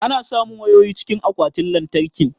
Ana samun wayoyi cikin akwatin lantarkin